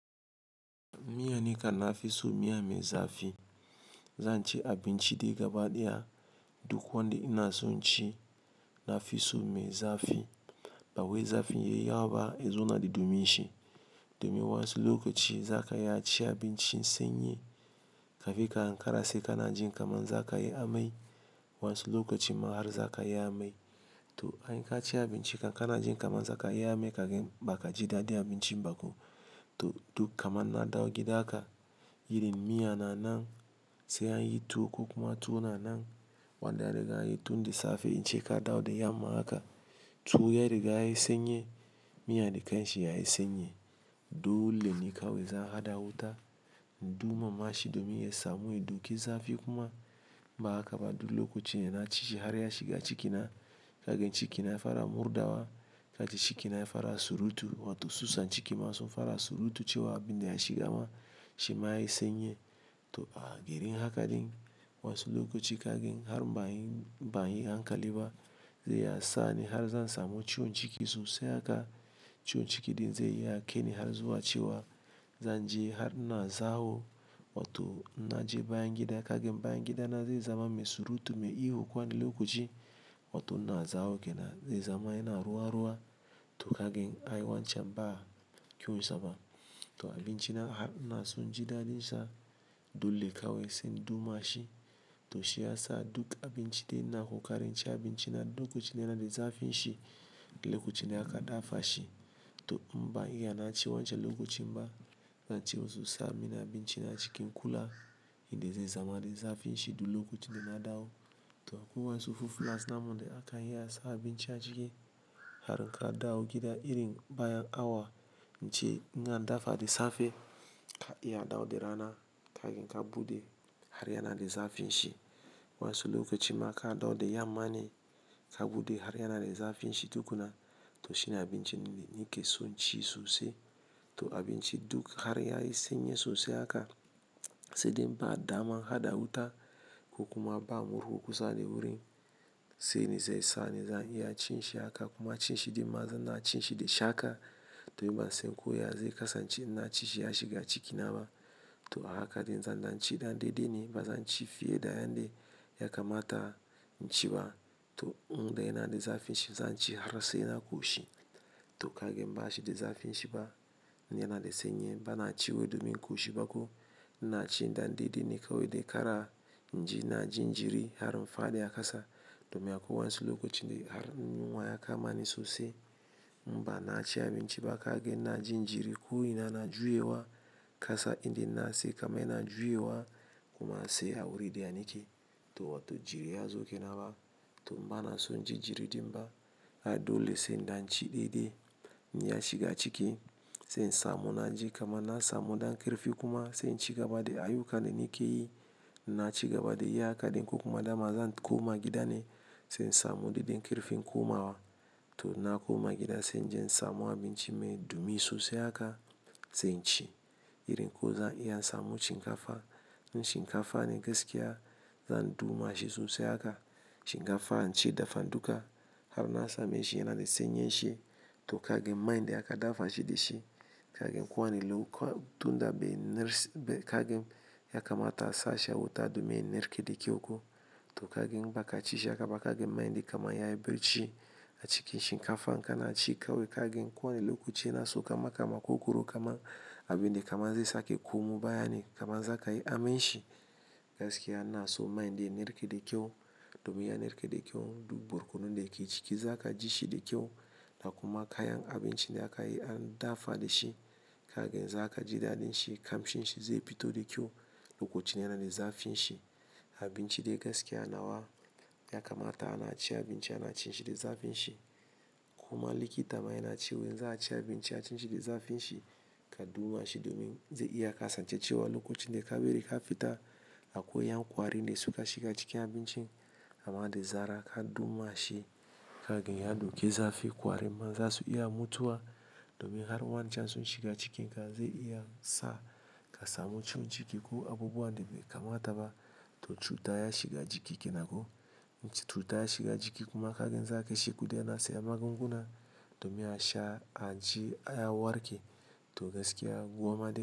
Miya nikam na fi so miya mai zafi. Zanci abinci dai gaba ɗaya duk wanda ina so in ci na fi so mai zafi. Ba wai zafin yayi yawa ba, ya zo na daɗe min shi. Domin wasu lokaci za ka iya ci abincin sanyi, kafinn ka ankara sai ka na jin kamar za ka yi amai. Wasu lokaci ma har zakayi amai to an ka ci abinci ka na jin kamar za ka yi amai, kagan ba ka ji daɗi abincin ba ko. To duk kamar na dawo gida haka, irin miya na nan sai an yi tuwo ko kuma tuwo na nan, wanda an riga anyi tunda safe in ce ka dawo da yamma haka. Tuwo ya riga ya yi sanyi, miya dakan shi ya yi sanyi. Dole ne kawai zan haɗa wuta, duma mashi domin ya samu ya doki zafi kuma. Ba haka ba, dole lokaci yana cije har ya shiga ciki na. Kagin cikin na ya fara murɗawa, kaji cikin na ya fara surutu, wato susan cikin ma sun fara surutu cewa abin da ya shiga ma shi ma ya yi sanyi. To a gurin haka din wasu lokaci kagin har ban yi, ban yi hankali ba, zai yi sa'a ne har zan samu ciwon ciki sosai haka. Ciwon ciki din zai yi ya ƙeni har zuwa cewa zan je har ina zawo wato na je bayan gida. Kagin bayan gida na zai zama mai surutu, mai ihu. Wanin lokaci wato na zawo ke nan zai zama yana ruwa-ruwa. To kagin ai wancan ba kiwo sama. To abinci na har in inaso inji dadin sa dole kawai sai in duma shi to shi yasa duk abinci dai ina kokari dai inci abinci lokacinda yanada zafin shi Lokacinda aka dafa shi. To in ban iya naci wancan lokacin ba, na ci wani yasamin abinci na cikin kula in dai zai zama da zafin shi duk lokacin da na dawo. To akwai wasu fulas namu da aka yi ya sa abinci a ciki har ka dawo gida irin bayan awa, in ce in ka dafa da safe, ka iya dawo da rana kagin ka buɗe har yana da zafin shi. Wansu lokaci ma ka dawo da yamma ne, ka buɗe har yana da zafin shi tukuna. To shi ne abinci nake so ci sosai. Abinci duk har yayi sanyi sosai haka sai dai in ba damar hada wuta ko kuma ba murhu kusa da wurin sai ne zai sa ni zan iya cin shi haka kuma cin shi dai ma zan na cin shi da shaka domin bansan koya zai kasance in naci shi ya shiga cikin na ba. To a haka dai zan dan ci ɗan dai dai ne ba zan ci fiye da yanda ya kamata in ci ba. To indai yanada zafin shi zanci har sai na koshi to kagan bashi da zafin shi ba, in yana da sanyi ba na ci wai domin ƙoshi ba ko. Na ci dan ɗai dai ne kawai dai kara inji na jin jiri har faɗiya kasa domin akwai wasu lokaci har yunwa ya kama ni sosai. In ba na ci abinci ba kagin na jin jiri ko ina na juya wa kasa inda na sake ma ina juya wa kuma sai a wuri dai nake. To wato jiri ya zo ke na ba. To banasonn jin jiri din ba. Ai dole sai in dan ci daidai in ya shiga ciki sai in samo na ji kama na samu ɗan ƙirfi kuma sai in ci gaba da a yuka na nake yi. Na ci gaba da yi haka dai ko kuma dama zan koma gida ne sai in samu ɗan ƙarfin koma wa. To na koma gida sai in je in samo abinci mai dumi sosai haka sai in ci irin ko zan iya in samu shinkafa. In shinkafa ne gaskiya zan duma shi sosai haka. Shinkafa in ci dafaduka har na sami shi yana da sanyi shi. To kaga man da aka dafa shi da shi kagin kwanin lokuta bai nars-- bai kagin ya kamata a sa shi a wuta domin ya narke da kyau ko. To kagan in baka ci shi haka ba kagan mai din kamar ya yi barci a cikin shinkafa in ka na ci kawai kagin kowane lokaci yana sauka ma ka makogoro kaman abin da kamar zai sake koma bayan kamar za ka yi amanshi. Gaskiya na so mai din ya narke da kyau domin ya narke da kyau duk borkunan da ke ciki za ka ji shi da kyau. Da kuma kayan abinci da aka yi an dafa da shi kagin za ka ji daɗin shi kam shin shi zai fito da kyau. Lokacin yana da zafin shi. Abinci dai gaskiya nawa ya kamata ana ci abinci ana cin shi da zafin shi. Kuma likita ma yana cewa in za a ci abinci a cin shi da zafin shi ka duma shi domin zai iya kasa ce cewa lokacin dai ka bari ka fita akwai yan kwari ne suka shiga cikin abincin. Ama dai zara ka duma shi kagin ya doke zafi kwari man za su iya mutuwa. Domin har wani can sun shiga cikin kai zai iya sa ka samu ciwon ciki ko abubuwa da bai kamata ba. To cuta ya shiga jiki kenan ko. To cuta ya shiga jiki kuma kagan zakaji guda nawa ka sayi magunguna domin a sha aji an warke to gaskiya gwamma dai.